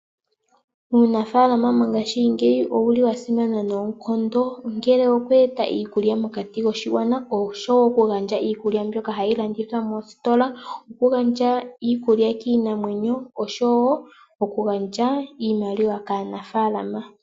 Uunafalama mongashingeyi owuli wasimana noonkondo ongele okueta iikulya mokati koshigwana osho wo okugandja iikulya mbyoka hayi landithwa moositola, okugandja iikulya kiinamwenyo osho wo okugandja iimaliwa kaanafaalama.